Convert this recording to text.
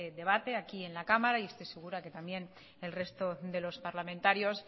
debate aquí en la cámara y estoy segura que también el resto de los parlamentarios